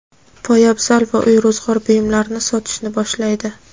poyabzal va uy-ro‘zg‘or buyumlarini sotishni boshlaydi.